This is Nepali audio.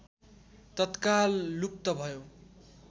तत्काल लुप्त भयो